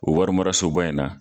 O warimarasoba in na.